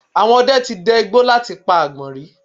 Àwọn ọdẹ ti dẹ igbó láti pa àgbọ̀nrín